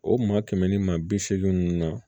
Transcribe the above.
O maa kɛmɛ ni maa bi seegin ninnu na